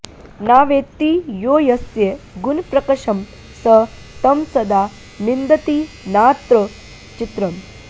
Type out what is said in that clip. न वेत्ति यो यस्य गुणप्रकर्षं स तं सदा निन्दति नाऽत्र चित्रम्